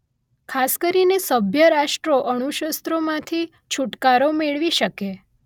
ખાસ કરીને સભ્ય રાષ્ટ્રો અણુશસ્રોમાંથી છૂટકારો મેળવી શકે